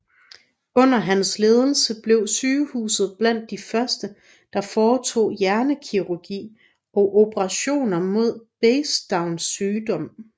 Under hans ledelse blev sygehuset blandt de første der foretog hjernekirurgi og operationer mod Basedows sygdom